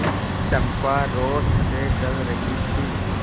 चंपा रोष से जल रही थी